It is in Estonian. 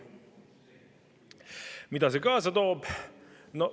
Mida see kaasa toob?